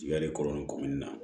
Yani kɔrɔlen kɔmɛni na